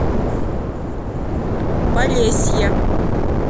полесье